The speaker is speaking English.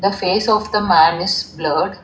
The face of the man is blurred.